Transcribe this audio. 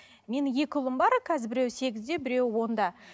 менің екі ұлым бар қазір біреуі сегізде біреуі онда